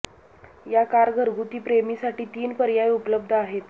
या कार घरगुती प्रेमी साठी तीन पर्याय उपलब्ध आहेत